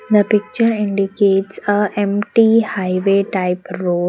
The picture indicates a empty highway type road.